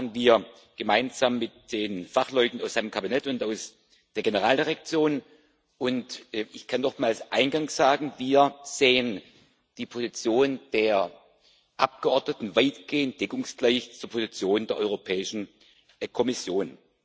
Das machen wir gemeinsam mit den Fachleuten aus seinem Kabinett und aus der Generaldirektion. Ich kann nochmals eingangs sagen Wir sehen die Position der Abgeordneten weitgehend deckungsgleich zur Position der Europäischen Kommission.